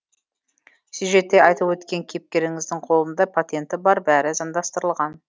сюжетте айтып өткен кейіпкеріңіздің қолында патенті бар бәрі заңдастырылған